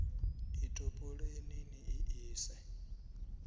i topoleni ni i ise